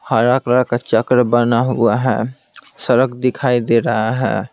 हरा कलर का चक्र बना हुआ है सड़क दिखाई दे रहा है।